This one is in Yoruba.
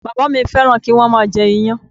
Bàbá à mí fẹ́ràn kí wọ́n má a jẹ iyán